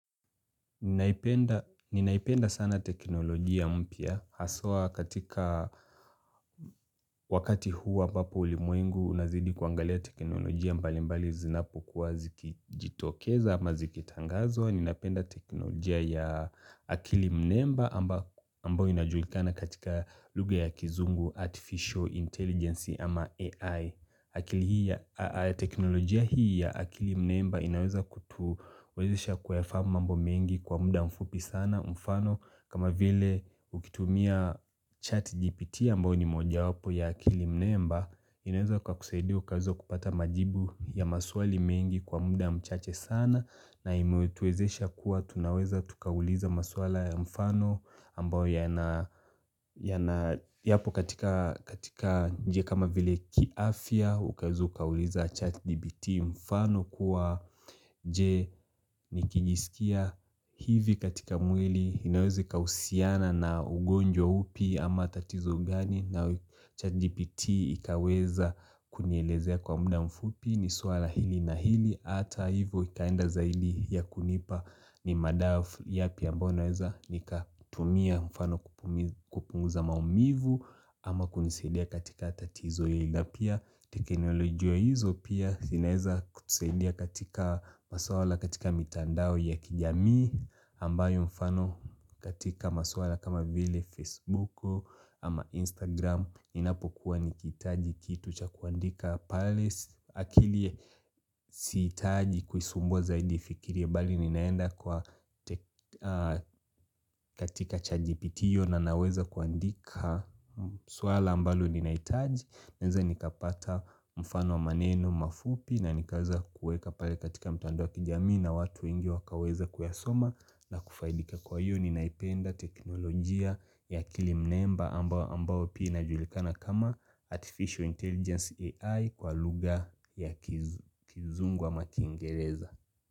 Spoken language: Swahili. Ninaipenda sana teknolojia mpya. Haswa katika wakati huu ambapo ulimwengu unazidi kuangalia teknolojia mbalimbali zinapokuwa zikijitokeza ama zikitangazwa. Ninapenda teknolojia ya akili mnemba ambao inajulikana katika lugha ya kizungu artificial intelligence ama AI. Akili hii ya teknolojia hii ya akili mnemba inaweza kutuwezesha kuyafahamu mambo mengi kwa muda mfupi sana mfano kama vile ukitumia chat GPT ambao ni moja wapo ya akili mnemba inaweza kwa kusaidia ukaweza kupata majibu ya maswali mengi kwa muda mchache sana na imetuwezesha kuwa tunaweza tukauliza maswala ya mfano ambao yana yapo katika katika nje kama vile kiafya ukaweza ukauliza chat gpt mfano kuwa nje nikijisikia hivi katika mwili inawezakahusiana na ugonjwa upi ama tatizo gani na chat gpt ikaweza kunielezea kwa muda mfupi ni suala hili na hili hata hivo ikaenda zaidi ya kunipa ni madawa yapi ambao ninaweza nikatumia mfano kupunguza maumivu ama kunisidia katika tatizo hili na pia teknolojia hizo pia zinaeza kutusaidia katika maswala katika mitandao ya kijamii ambayo mfano katika maswala kama vile Facebook ama Instagram Inapokuwa nikitaji kitu cha kuandika palace akili sihitaji kuisumbua zaidi ifikirie bali ninaenda kwa katika chat gpt hio na naweza kuandika swala ambalo ninahitaji Naeza nikapata mfano wa maneno mafupi na nikaweza kuweka pale katika mtando wa kijamii na watu wengi wakaweza kuyasoma na kufaidika kwa hiyo ninaipenda teknolojia ya akili mnemba ambao pia ijulikana kama Artificial Intelligence AI kwa lugha ya kizungu ama kiingereza.